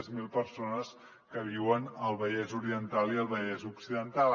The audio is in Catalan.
zero persones que viuen al vallès oriental i al vallès occidental